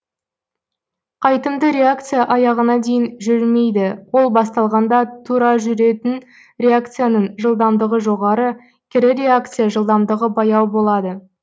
қайтымды реакция аяғына дейін жүрмейді ол басталғанда тура жүретін реакцияның жылдамдығы жоғары кері реакция жылдамдығы баяу болады